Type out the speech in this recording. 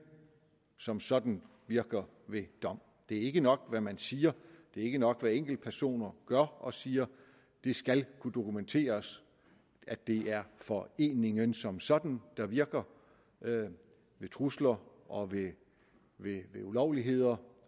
som sådan virker ved vold det er ikke nok hvad man siger det er ikke nok hvad enkeltpersoner gør og siger det skal kunne dokumenteres at det er foreningen som sådan der virker ved trusler og ved ulovligheder